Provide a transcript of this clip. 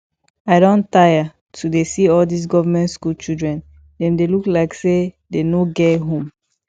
i don tire to dey see all dis government school children dem dey look like say dem no get home